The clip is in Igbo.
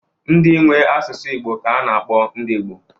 Ndị nwe asụsụ Igbo ka a na-akpọ ndị Igbo.